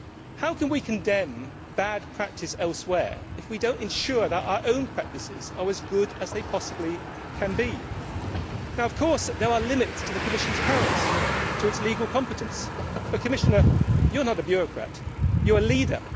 How can we condemn bad practice elsewhere if we do not ensure that our own practices are as good as they possibly can be? Now, of course, there are limits to the Commission's powers, to its legal competence. But, Commissioner, you are not a bureaucrat you are a leader